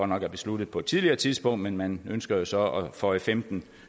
nok besluttet på et tidligere tidspunkt men man ønsker så at føje femten